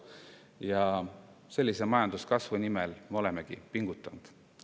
Ja sellise majanduskasvu nimel olemegi pingutanud.